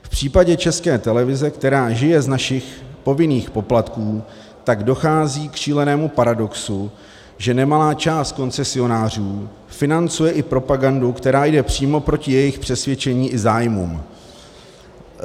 V případě České televize, která žije z našich povinných poplatků, tak dochází k šílenému paradoxu, že nemalá část koncesionářů financuje i propagandu, která jde přímo proti jejich přesvědčení i zájmům.